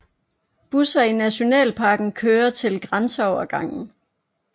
Busser i Nationalparken kører til grænseovergangen